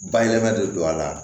Bayɛlɛmali de don a la